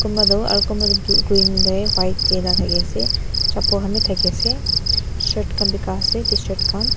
kunba to aro konba tu blue green te white tey enka thaki ase chapal khan bi thaki ase shirt khan bika ase tshirt khan.